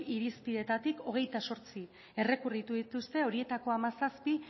irizpideetatik hogeita zortzi errekurritu dituzte horietako hamazazpi